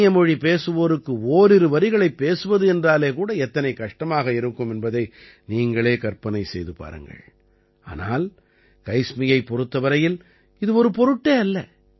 அந்நிய மொழி பேசுவோருக்கு ஓரிரு வரிகளைப் பேசுவது என்றாலே கூட எத்தனை கஷ்டமாக இருக்கும் என்பதை நீங்களே கற்பனை செய்து பாருங்கள் ஆனால் கைஸ்மியைப் பொறுத்த வரையில் இது ஒரு பொருட்டே அல்ல